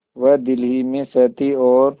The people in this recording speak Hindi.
वह दिल ही में सहती और